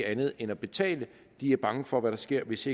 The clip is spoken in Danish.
andet end at betale de er bange for hvad der sker hvis